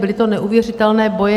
Byly to neuvěřitelné boje.